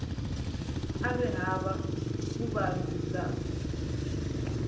a ri hava vuvabyi bya